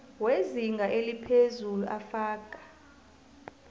wezinga eliphezulu afaka